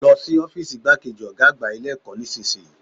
Lọ sí ọ́fììsì igbákejì Ọ̀gá àgbà Ilé ẹ̀kọ́ nísìnyí